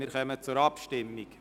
Wir kommen zur Abstimmung.